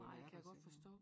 Nej det kan jeg godt forstå